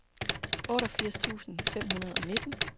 otteogfirs tusind fem hundrede og nitten